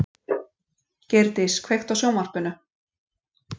Geirdís, kveiktu á sjónvarpinu.